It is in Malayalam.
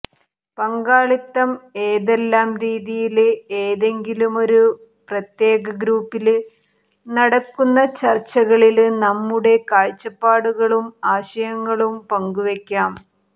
പങ്കാളിത്തം ഏതെല്ലാം രീതിയില് ഏതെങ്കിലുമൊരു പ്രത്യേക ഗ്രൂപ്പില് നടക്കുന്ന ചര്ച്ചകളില് നമ്മുടെ കാഴ്ചപ്പാടുകളും ആശയങ്ങളും പങ്കുവയ്ക്കാം